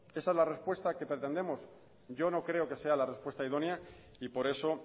esa es la respuesta que pretendemos yo no creo que sea la respuesta idónea y por eso